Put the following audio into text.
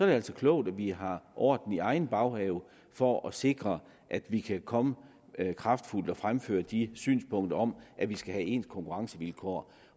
det altså klogt at vi har orden i egen baghave for at sikre at vi kan komme kraftfuldt og fremføre de synspunkter om at vi skal have ens konkurrencevilkår